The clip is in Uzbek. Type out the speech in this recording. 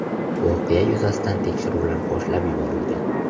Voqea yuzasidan tekshiruvlar boshlab yuborilgan.